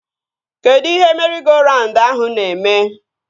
Kedụ ihe meri-go-raund ahụ na-eme?